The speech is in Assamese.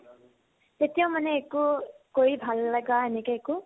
তেতিয়া মানে একো কৰি ভাল নলগা এনেকে একো